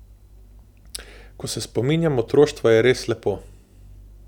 Ko se spominjam otroštva, je res lepo.